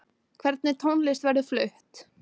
Hvernig tónlist verður flutt?